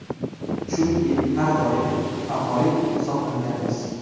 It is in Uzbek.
Chunki har doim favorit hisoblanganmiz.